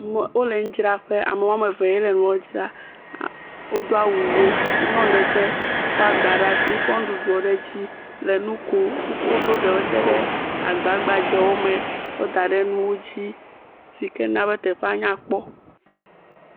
Me wole nudzraƒe ame wɔme evee le nua dzram. A wodo awu ʋi. Nyɔnu ɖe tse kɔ agba ɖe asi kɔ nuɖuɖuwo ɖe edzi le nu kom. Wokɔ woɖo ɖewo tse ɖe agba gbadzewo me kɔ da ɖe nuwo dzi si ke nabe teƒea nyakpɔ.